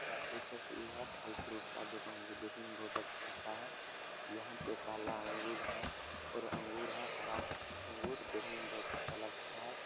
यह आप देख सकते हैं यह फल फ्रूट का दुकान जो देखने में बहोत अच्छा लगता है यहाँ पे काला अंगूर है और अंगूर है हरा अंगूर देखने में बहोत अच्छा लगता है।